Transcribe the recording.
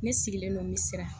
Ne sigilen don mi siran